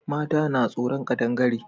Mata na tsoron ƙadangare